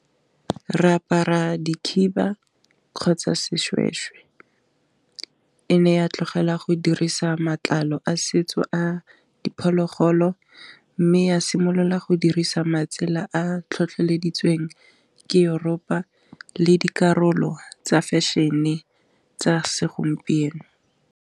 Re apara dikhiba kgotsa seshweshwe e ne ya tlogela go dirisa matlalo a setso a diphologolo mme ya simolola go dirisa matsela a tlhotlheleditseng ke Europe le dikarolo tsa fashion-e tsa segompieno.